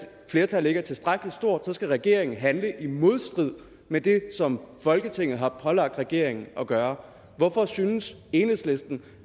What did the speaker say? flertallet ikke er tilstrækkelig stort skal regeringen handle i modstrid med det som folketinget har pålagt regeringen at gøre hvorfor synes enhedslisten